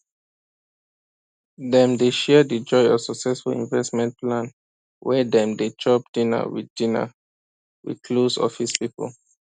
dem dey share the joy of successful investment plan when dem dey chop dinner with dinner with close office people